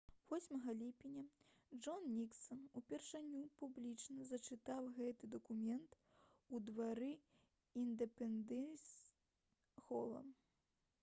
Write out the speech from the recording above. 8 ліпеня джон ніксан упершыню публічна зачытаў гэты дакумент у двары індэпендэнс-хола